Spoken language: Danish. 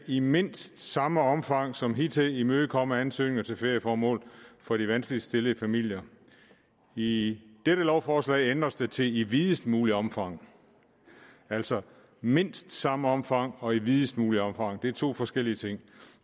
i mindst samme omfang som hidtil skal imødekomme ansøgninger til ferieformål for de vanskeligt stillede familier i i dette lovforslag ændres det til i videst muligt omfang altså i mindst samme omfang og i videst muligt omfang er to forskellige ting